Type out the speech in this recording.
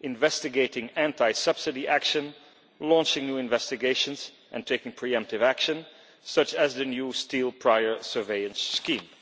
investigating anti subsidy action, launching new investigations and taking pre emptive action such as the new steel prior surveillance scheme.